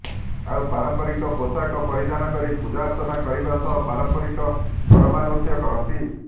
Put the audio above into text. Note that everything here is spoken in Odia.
ଆଉ ପାରମ୍ପରିକ ପୋଷାକ ପରିଧାନ କରି ପୂଜାର୍ଚ୍ଚନା କରିବା ସହ ପାରମ୍ପରିକ କରମା ନୃତ୍ୟ କରନ୍ତି